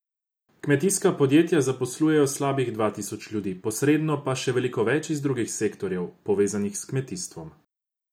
Kmetijska podjetja zaposlujejo slabih dva tisoč ljudi, posredno pa še veliko več iz drugih sektorjev, povezanih s kmetijstvom.